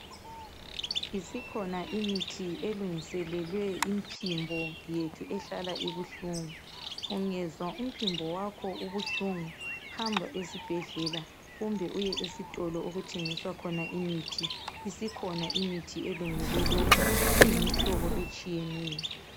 Isikhona imithi elungiselelwe imiphimbo yethu ehlala ibuhlungu. Ungezwa umphimbo wakho ubuhlungu, hamba esibhedlela kumbe uye esitolo okuthengiswa khona imithi. Isikhona imithi elungele lokho, iyimihlobo etshiyeneyo.